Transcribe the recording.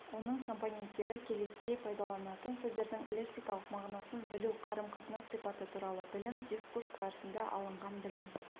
оның компоненттері келесідей пайдаланылатын сөздердің лексикалық мағынасын білу қарым-қатынас сипаты туралы білім дискурс барысында алынған білім